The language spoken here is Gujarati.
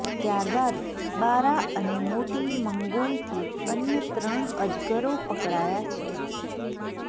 ત્યારબાદ બારા અને મોટી મંગોઇથી અન્ય ત્રણ અજગરો પકડાયા છે